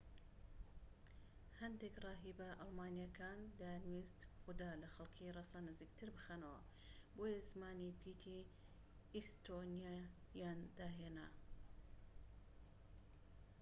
هەندێک ڕاهیبە ئەڵمانییەکان دەیانویست خودا لە خەڵکی ڕەسەن نزیکتر بخەنەوە بۆیە زمانی پیتی ئیستۆنیاییان داهێنا